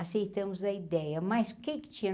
aceitamos a ideia, mas o que que tinha?